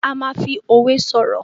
a ma fí òwe soro.